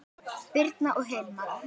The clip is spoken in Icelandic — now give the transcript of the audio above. Birna og Hilmar.